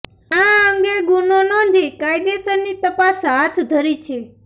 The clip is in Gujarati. આ અંગે ગુનો નોધી કાયદેસરની તપાસ હાથ ધરી છે